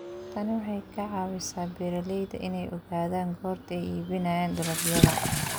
Tani waxay ka caawisaa beeralayda inay ogaadaan goorta ay iibinayaan dalagyada.